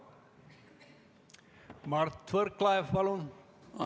Mart Võrklaev, palun!